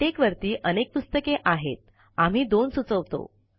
LaTeX वरती अनेक पुस्तके आहेतआम्ही दोन सुचवतो